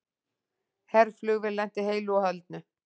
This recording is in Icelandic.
Herflugvél lenti heilu og höldnu